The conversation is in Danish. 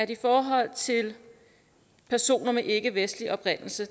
i forhold til personer med ikkevestlig oprindelse